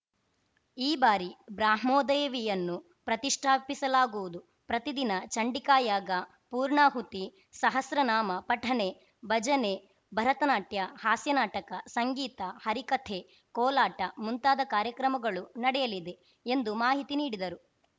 ಈ ಬಾರಿ ಬ್ರಾಹ್ಮೋದೇವಿಯನ್ನು ಪ್ರತಿಷ್ಠಾಪಿಸಲಾಗುವುದು ಪ್ರತಿದಿನ ಚಂಡಿಕಾಯಾಗ ಪೂರ್ಣಾಹುತಿ ಸಹಸ್ರನಾಮ ಪಠಣ ಭಜನೆ ಭರತನಾಟ್ಯ ಹಾಸ್ಯನಾಟಕ ಸಂಗೀತ ಹರಿಕಥೆ ಕೋಲಾಟ ಮುಂತಾದ ಕಾರ್ಯಕ್ರಮಗಳು ನಡೆಯಲಿದೆ ಎಂದು ಮಾಹಿತಿ ನೀಡಿದರು